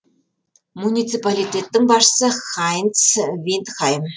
муниципалитеттің басшысы хайнц виндхайм